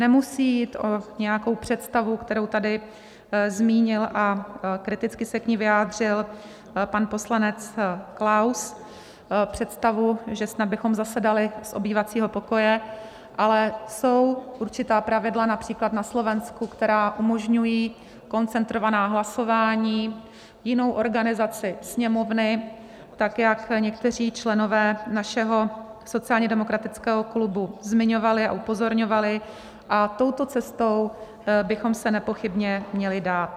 Nemusí jít o nějakou představu, kterou tady zmínil a kriticky se k ní vyjádřil pan poslanec Klaus, představu, že snad bychom zasedali z obývacího pokoje, ale jsou určitá pravidla, například na Slovensku, která umožňují koncentrovaná hlasování, jinou organizaci Sněmovny, tak jak někteří členové našeho sociálně demokratického klubu zmiňovali a upozorňovali, a touto cestou bychom se nepochybně měli dát.